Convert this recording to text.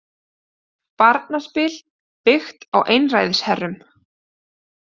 Barnaspil byggt á einræðisherrum